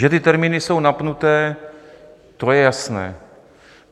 Že ty termíny jsou napnuté, to je jasné.